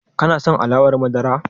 Ka son alawar madara?